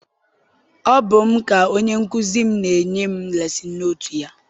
Ọ bụ m ka onye nkụzi m na-enye m lesin notu ya.